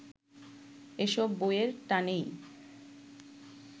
এসব বইয়ের টানেই